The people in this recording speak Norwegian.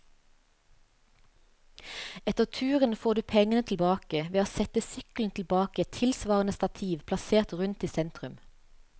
Etter turen får du pengene tilbake ved å sette sykkelen tilbake i et tilsvarende stativ plassert rundt i sentrum.